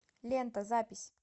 лента запись